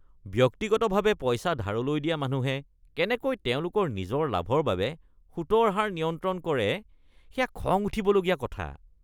ব্যক্তিগতভাৱে পইচা ধাৰলৈ দিয়া মানুহে কেনেকৈ তেওঁলোকৰ নিজৰ লাভৰ বাবে সুতৰ হাৰ নিয়ন্ত্ৰণ কৰে সেয়া খং উঠিবলগীয়া কথা।